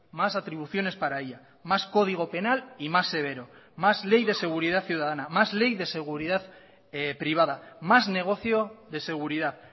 más atribuciones para ella más código penal y más severo más ley de seguridad ciudadana más ley de seguridad privada más negocio de seguridad